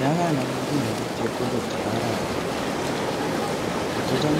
Yekanam nguno chepkondok chebo arawet, kocham